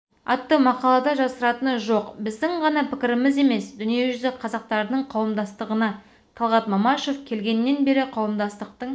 атты мақалада жасыратыны жоқ біздің ғана пікіріміз емес дүниежүзі қазақтарының қауымдастығына талғат мамашев келгеннен бері қауымдастықтың